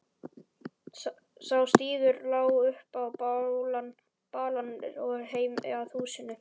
Sá stígur lá upp á balann og heim að húsinu.